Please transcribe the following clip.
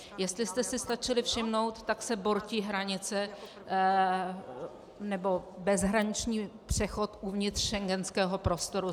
Jestli jste si stačili všimnout, tak se bortí hranice, nebo bezhraniční přechod uvnitř schengenského prostoru.